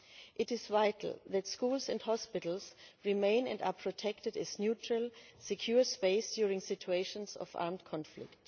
It is vital that schools and hospitals remain and are protected as a neutral secure space during situations of armed conflict.